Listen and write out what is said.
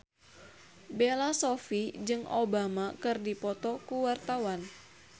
Bella Shofie jeung Obama keur dipoto ku wartawan